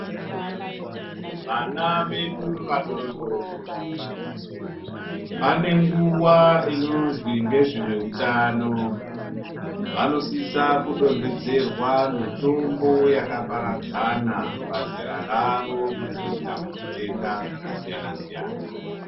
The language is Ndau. Vana vedu vadodori pane nguva inozi nge zvewe utano vano sisa ku dondodzerwa mitombo yaka paradzana pazera ravo kudzivirira zvitenda zvaka siyana siyana.